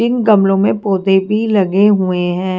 इन गमलों में पौधे भी लगे हुए हैं।